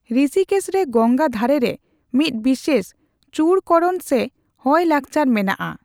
ᱨᱤᱥᱤᱠᱮᱥ ᱨᱮ ᱜᱚᱝᱜᱟ ᱫᱷᱟᱨᱮ ᱨᱮ ᱢᱤᱫ ᱵᱤᱥᱮᱥ ᱪᱩᱲᱠᱚᱨᱚᱱ ᱥᱮ ᱦᱚᱭᱚ ᱞᱟᱠᱪᱟᱨ ᱢᱮᱱᱟᱜᱼᱟ ᱾